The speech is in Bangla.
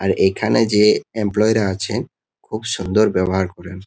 আর এখানে যে এমপ্লয়ী -রা আছেন খুব সুন্দর ব্যবহার করেন।